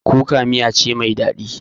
Kuka miya ce mai daɗi